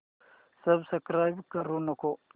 subscribe करू नको